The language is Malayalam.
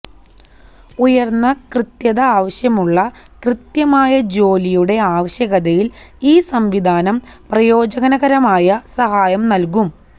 ഉയർന്ന കൃത്യത ആവശ്യമുള്ള കൃത്യമായ ജോലിയുടെ ആവശ്യകതയിൽ ഈ സംവിധാനം പ്രയോജനകരമായ സഹായം നൽകും